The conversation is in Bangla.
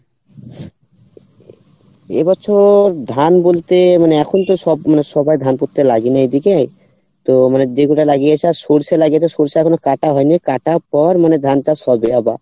এ বছর ধান বলতে মানে এখন তো সব মানে সবাই ধান পুততে লাগেনি এদিকে তো মানে যে কটা লাগিয়ে আর সর্ষে লাগিয়েছে সর্ষা এখনো কাটা হয়নি কাটার পর মানে ধান চাষ হবে আবার